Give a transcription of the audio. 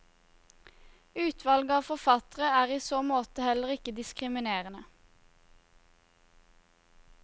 Utvalget av forfattere er i så måte heller ikke diskriminerende.